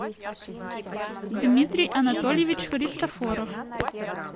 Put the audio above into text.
дмитрий анатольевич христофоров